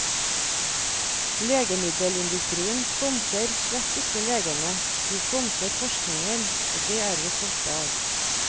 Legemiddelindustrien sponser slett ikke legene, de sponser forskningen, og det er vi stolte av.